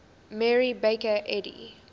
mary baker eddy